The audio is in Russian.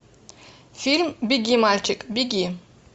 фильм беги мальчик беги